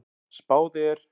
Spáð er